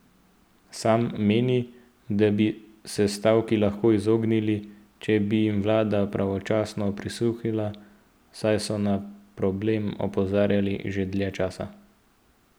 Sam meni, da bi se stavki lahko izognili, če bi jim vlada pravočasno prisluhnila, saj so na problem opozarjali že dlje časa.